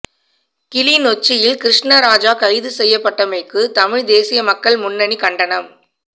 கிளிநொச்சியில் கிருஸ்ணராஜா கைது செய்யப்பட்டமைக்கு தமிழ்த் தேசிய மக்கள் முன்னணி கண்டனம்